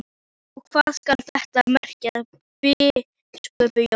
Og hvað skal þetta merkja, biskup Jón?